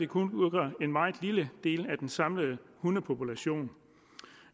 kun udgør en meget lille del af den samlede hundepopulation